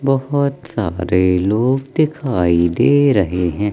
बहोत सारे लोग दिखाई दे रहे हैं।